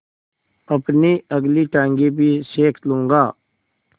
अपनी अगली टाँगें भी सेक लूँगा